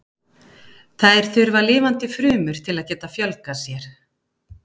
Þær þurfa lifandi frumur til að geta fjölgað sér.